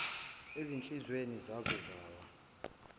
ezinhlizweni zazo zawa